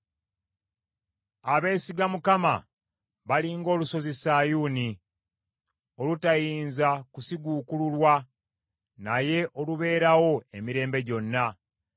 Abeesiga Mukama bali ng’olusozi Sayuuni olutayinza kusiguukululwa, naye olubeerawo emirembe gyonna.